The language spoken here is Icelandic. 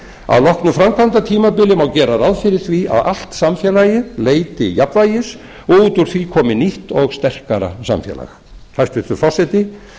að loknu framkvæmdatímabili má gera ráð fyrir því að allt samfélagið leiti jafnvægis og út úr því komi nýtt og sterkara samfélag hæstvirtur forseti